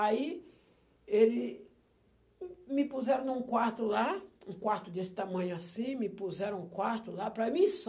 Aí, ele me puseram num quarto lá, um quarto desse tamanho assim, me puseram um quarto lá, para mim só.